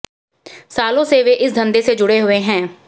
सालों से वे इस धंधे से जुड़े हुए हैं